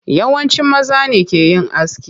Yawanci maza ne ke yin aski.